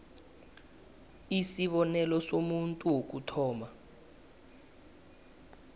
isibonelo somuntu wokuthoma